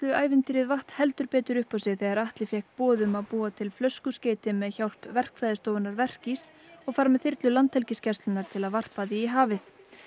ævintýrið vatt heldur betur upp á sig þegar Atli fékk boð um að búa til flöskuskeyti með hjálp Verkfræðistofunnar og fara með þyrlu Landhelgisgæslunnar til að varpa því í hafið